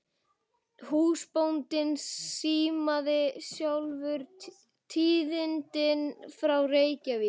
Húsbóndinn símaði sjálfur tíðindin frá Reykjavík.